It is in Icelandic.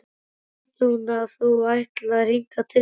Veit hún að þú ætlaðir hingað til mín?